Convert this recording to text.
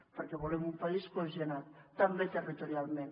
perquè volem un país cohesionat també territorialment